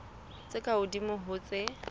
tse ka hodimo ho tse